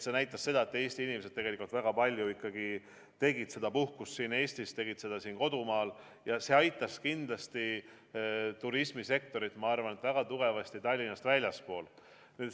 See näitab, et Eesti inimesed tegelikult väga palju veetsid puhkust Eestis, tegid seda siin kodumaal ja see aitas kindlasti turismisektorit väga tugevasti Tallinnast väljaspool.